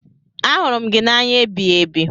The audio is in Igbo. Ahụrụ m gị n'anya ebighiebi.